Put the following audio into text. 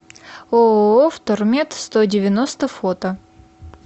ооо втормет сто девяносто фото